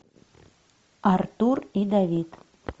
артур и давид